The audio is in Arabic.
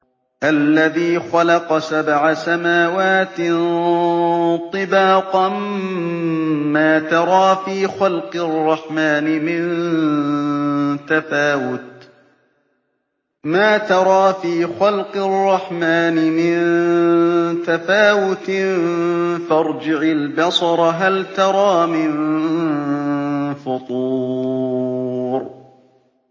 الَّذِي خَلَقَ سَبْعَ سَمَاوَاتٍ طِبَاقًا ۖ مَّا تَرَىٰ فِي خَلْقِ الرَّحْمَٰنِ مِن تَفَاوُتٍ ۖ فَارْجِعِ الْبَصَرَ هَلْ تَرَىٰ مِن فُطُورٍ